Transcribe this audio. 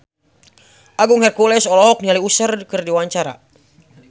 Agung Hercules olohok ningali Usher keur diwawancara